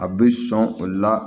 A bɛ sɔn o la